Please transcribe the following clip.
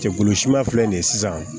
Cɛkulu si ma filɛ nin ye sisan